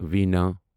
وینا